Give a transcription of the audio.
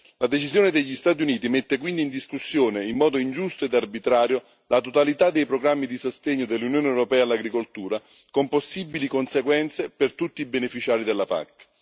La decisione degli Stati Uniti mette quindi in discussione in modo ingiusto ed arbitrario la totalità dei programmi di sostegno dell'Unione europea all'agricoltura, con possibili conseguenze per tutti i beneficiari della PAC.